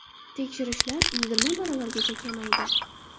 Tekshirishlar yigirma baravargacha kamaydi.